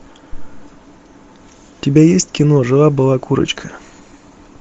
у тебя есть кино жила была курочка